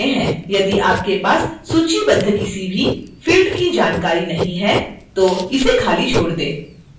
यदि आपके पास सूचीबद्ध किसी भी field की जानकारी नहीं है तो इसे खाली छोड़ दें